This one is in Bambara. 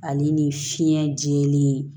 Ale ni fiɲɛ jɛlen